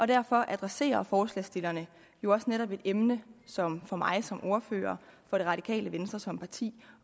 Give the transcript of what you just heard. derfor adresserer forslagsstillerne jo også netop et emne som for mig som ordfører for det radikale venstre som parti